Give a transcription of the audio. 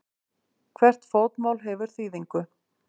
Hvert fótmál hefur þýðingu.